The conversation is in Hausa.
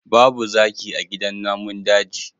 Babu zaki a gidan namun daji